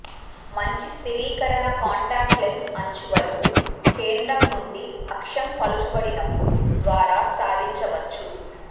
మంచి స్థిరీకరణ contact lens అంచు వరకు కేంద్రం నుండి అక్షం పలుచబడినపుడు ద్వారా సాధించవచ్చు